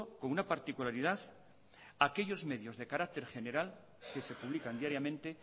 con una particularidad aquellos medios de carácter general que se publican diariamente e